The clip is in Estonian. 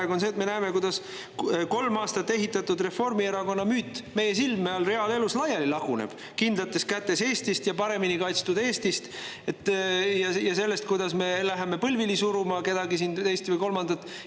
See on see, et me näeme, kuidas meie silme all laguneb reaalelus laiali kolm aastat ehitatud Reformierakonna müüt kindlates kätes Eestist ja paremini kaitstud Eestist ja sellest, kuidas me läheme põlvili suruma kedagi teist või kolmandat.